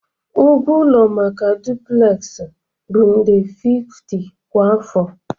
Ụgwọ ụlọ maka duplex bụ nde 50 kwa afọ